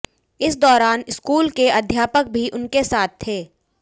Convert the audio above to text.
इस दौरान स्कूल के अध्यापक भी उनके साथ थे